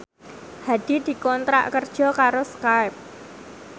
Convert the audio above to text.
Hadi dikontrak kerja karo Skype